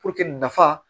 nafa